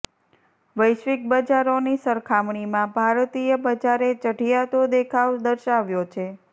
વૈશ્વિક બજારોની સરખામણીમાં ભારતીય બજારે ચઢિયાતો દેખાવ દર્શાવ્યો છે